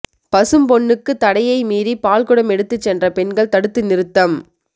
பசும்பொன்னுக்கு தடையை மீறி பால்குடம் எடுத்துச் சென்ற பெண்கள் தடுத்து நிறுத்தம்